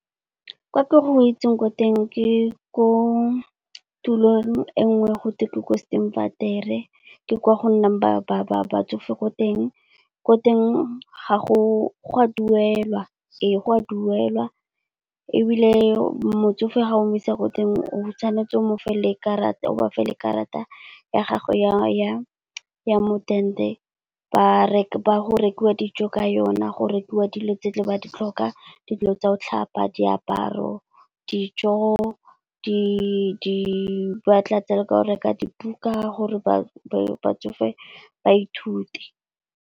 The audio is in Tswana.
Ka ko ke go itseng ko teng ke ko tulong e nngwe go teng ko ke kwa go nnang batsofe ko teng. Ko teng gwa duelwa, ee gwa duelwa. Ebile motsofe ga o mo isa ko teng o tshwanetse o bafe le karata, ya gagwe ya modende. Go rekiwa dijo ka yona, go rekiwa dilo tse di ba di tlhokang dilo tsa go tlhapa, diaparo, dijo, ba tlatsa le ka go reka dibuka gore ba ba tsofe ba ithute,